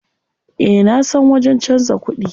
Eh nasan wajen canza kuɗi.